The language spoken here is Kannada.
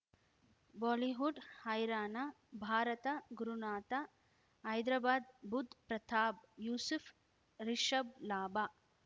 ಬಾಲಿವುಡ್ ಹೈರಾಣ ಭಾರತ ಗುರುನಾಥ ಹೈದರಾಬಾದ್ ಬುಧ್ ಪ್ರತಾಪ್ ಯೂಸುಫ್ ರಿಷಬ್ ಲಾಭ